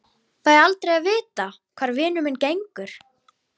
Fæ aldrei að vita hvar vinur minn gengur.